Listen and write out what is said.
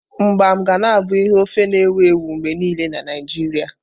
Mgbam ga na abụ ihe ofe na-ewu ewu mgbe niile na Naijiria.